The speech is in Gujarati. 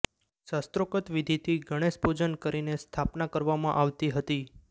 શાસ્ત્રોકત વિધિથી ગણેશ પૂજન કરીને સ્થાપના કરવામાં આવી હતી